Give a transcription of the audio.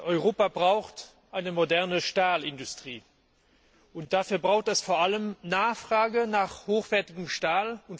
Europa braucht eine moderne Stahlindustrie, und dafür bedarf es vor allem der Nachfrage nach hochwertigem Stahl.